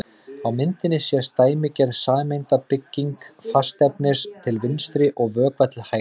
Á myndinni sést dæmigerð sameindabygging fastefnis til vinstri og vökva til hægri.